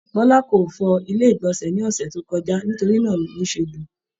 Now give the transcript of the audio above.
Bọla kò fọ ilé igbọnsẹ ni ọsẹ tí o kọjá, nítorí náà lo se bu.